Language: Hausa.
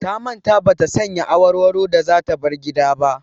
Ta manta ba ta sanya awarwaro da za ta bar gida ba.